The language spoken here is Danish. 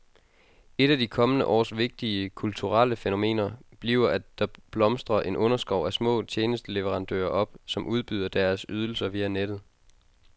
Et af de kommende års vigtige kulturelle fænomener bliver, at der blomstrer en underskov af små tjenesteleverandører op, som udbyder deres ydelser via nettet.